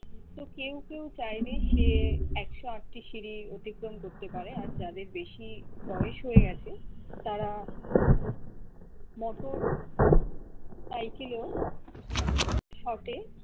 তো কেও কেও চাইলে সে একশো আটটি সিড়ি অতিক্রম করতে পারে আর যাদের বেশি বয়স হয়ে আছে তারা মোটর সাইকেলও shot এ